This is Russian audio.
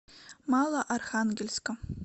малоархангельска